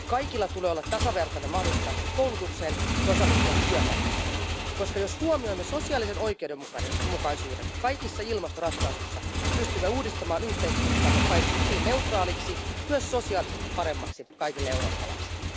Kaikilla tulee olla tasavertainen mahdollisuus päästä koulutukseen ja osallistua työmarkkinoille, koska jos huomioimme sosiaalisen oikeudenmukaisuuden kaikissa ilmastoratkaisussa, pystymme uudistamaan yhteiskuntaamme paitsi hiilineutraaliksi myös sosiaalisesti paremmaksi kaikille eurooppalaisille.